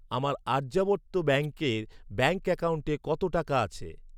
আমার আর্যাবর্ত ব্যাঙ্কে ব্যাঙ্ক অ্যাকাউন্টে কত টাকা আছে?